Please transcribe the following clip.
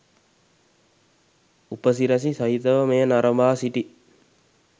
උපසි‍රැසි සහිතව මෙය නරඹා සිටි